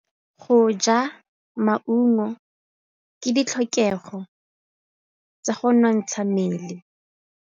Go ja maungo ke ditlhokegô tsa go nontsha mmele.